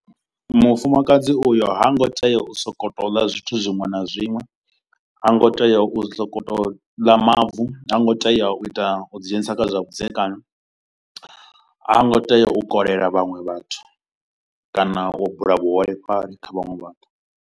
Mufumakadzi u yo ha ngo tea u so ko to u ḽa zwithu zwiṅwe na zwiṅwe, ha ngo tea u so ko to u ḽa mavu, ha ngo tea u ita u ḓi dzhenisa kha zwa vhudzekani, ha ngo tea u kolela vhaṅwe vhathu kana u bula vhuholefhali kha vhaṅwe vhathu.